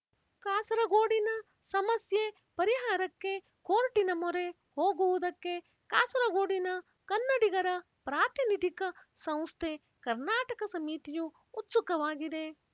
ಕಾಸರಗೋಡಿನ ಸಮಸ್ಯೆ ಪರಿಹಾರಕ್ಕೆ ಕೋರ್ಟಿನ ಮೊರೆ ಹೋಗುವುದಕ್ಕೆ ಕಾಸರಗೋಡಿನ ಕನ್ನಡಿಗರ ಪ್ರಾತಿನಿಧಿಕ ಸಂಸ್ಥೆ ಕರ್ನಾಟಕ ಸಮಿತಿಯು ಉತ್ಸುಕವಾಗಿದೆ